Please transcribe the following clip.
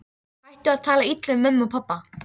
Hættu að tala illa um mömmu og pabba!